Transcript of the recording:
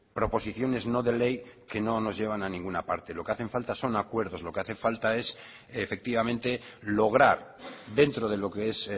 proposiciones no de ley que no nos llevan a ninguna parte lo que hace falta son acuerdos lo que hace falta es efectivamente lograr dentro de lo que es